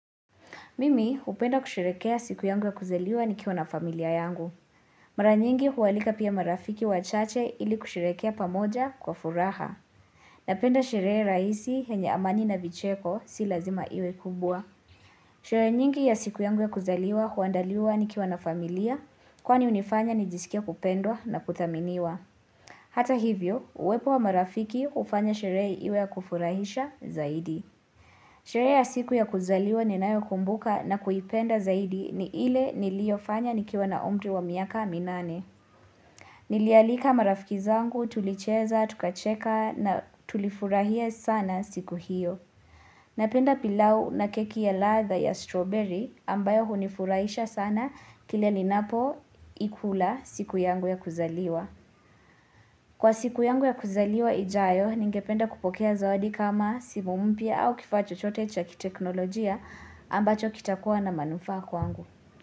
Mimi hupenda kusherehekea siku yangu ya kuzaliwa nikiwa na familia yangu. Mara nyingi hualika pia marafiki wachache ili kusherehekea pamoja kwa furaha. Napenda sherehe rahisi yenye amani na vicheko si lazima iwe kubwa. Sherehe nyingi ya siku yangu ya kuzaliwa huandaliwa nikiwa na familia kwani hunifanya nijisikie kupendwa na kuthaminiwa. Hata hivyo, uwepo wa marafiki hufanya sherehe iwe ya kufurahisha zaidi. Sherehe ya siku ya kuzaliwa ninayokumbuka na kuipenda zaidi ni ile niliofanya nikiwa na umri wa miaka minane. Nilialika marafiki zangu tulicheza, tukacheka na tulifurahia sana siku hiyo. Napenda pilau na keki ya ladha ya strawberry ambayo hunifurahisha sana kile ninapoikula siku yangu ya kuzaliwa. Kwa siku yangu ya kuzaliwa ijayo, ningependa kupokea zawadi kama simu mpya au kifaa chochote cha kiteknolojia ambacho kitakuwa na manufaa kwangu.